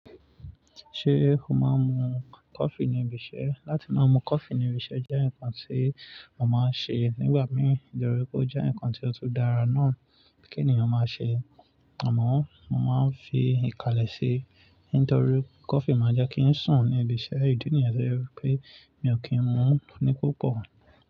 Ṣé o máa ń mu coffee níbi iṣẹ́? Láti máa mu coffee níbi iṣẹ́ jẹ́ nǹkan tí mo máa ń ṣe nígbà mí. Nítorí pé ó jẹ́ nǹkan tí ó tó dára náà kí ènìyàn máa ṣe. Àmọ́ mo máa ń fi ìkàlẹ̀ ṣe, nítorí coffee máa ń jẹ́ kí ń sùn níbi iṣẹ́. Ìdí nìyẹn tí ó jẹ́ wípé mi ò kí ń mu ní púpọ̀.